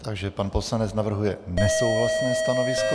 Takže pan poslanec navrhuje nesouhlasné stanovisko.